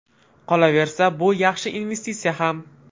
Qolaversa, bu yaxshi investitsiya ham.